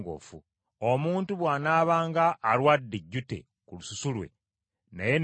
“Omuntu bw’anaabanga alwadde ejjute ku lususu lwe, naye ne liwona,